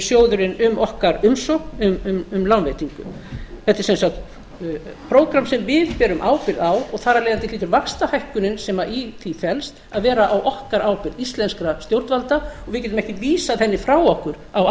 um okkar umsókn um lánveitingu þetta er sem sagt prógramm sem við berum ábyrgð á og þar af leiðandi hlýtur vaxtahækkunin sem í því felst að vera á okkar ábyrgð íslenskra stjórnvalda og við getum ekki vísað henni frá okkur á